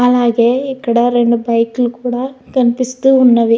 అలాగే ఇక్కడ రెండు బైక్ లు కూడా కనిపిస్తు ఉన్నవి.